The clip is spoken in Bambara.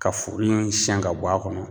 Ka furu in siɲɛn ka bɔ a kɔnɔ